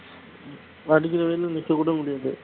அடிக்கிற வெயில்ல நிக்க கூட முடியாது